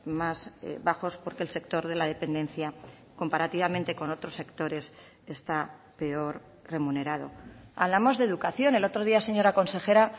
más bajos porque el sector de la dependencia comparativamente con otros sectores está peor remunerado hablamos de educación el otro día señora consejera